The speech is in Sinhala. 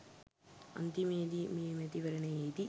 අන්තිමේ දී මේ මැතිවරණයේදී